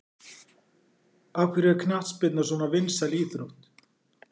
Af hverju er knattspyrna svona vinsæl íþrótt?